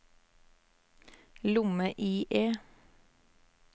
lomme-IE